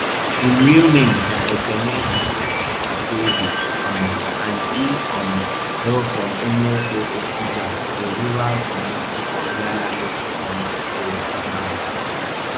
im real names na ekene igboekweze um and e um hail from umuofo okija a rural community for ihiala local goment area of anambra state